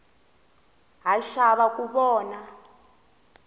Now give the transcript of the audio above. ha xava ku vona